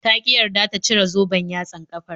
Ta ƙi yarda ta cire zoben yatsan ƙafar